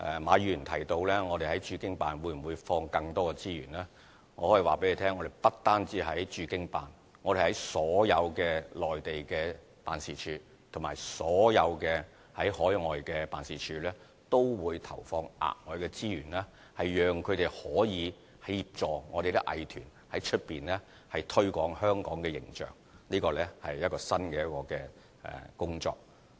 馬議員提到我們在駐京辦會否投放更多資源，我可以告訴大家，我們不單在駐京辦，我們在所有內地的辦事處和所有海外的辦事處都會投放額外的資源，讓它們可以協助我們的藝團在香港以外的地方推廣香港的形象，這是一項新的工作。